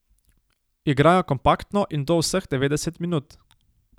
Igrajo kompaktno, in to vseh devetdeset minut.